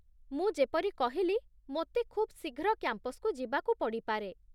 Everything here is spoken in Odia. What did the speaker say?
ମୁଁ ଯେପରି କହିଲି, ମୋତେ ଖୁବ୍ ଶୀଘ୍ର କ୍ୟାମ୍ପସ୍‌କୁ ଯିବାକୁ ପଡ଼ିପାରେ